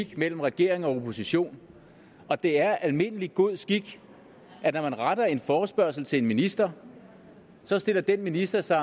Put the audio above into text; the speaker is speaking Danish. mellem regering og opposition og det er almindelig god skik at når man retter en forespørgsel til en minister så stiller den minister sig